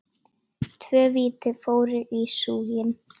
Tvö víti fóru í súginn.